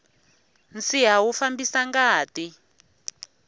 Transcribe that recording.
nsiha wu fambisa ngati